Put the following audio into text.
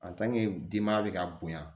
denma bɛ ka bonya